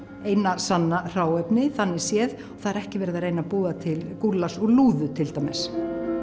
eina sanna hráefni þannig séð það er ekki verið að reyna að búa til gúllas úr lúðu til dæmis